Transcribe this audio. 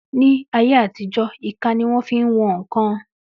Ní ayé àtijó, ìka ni wón fi ń wọn ǹkan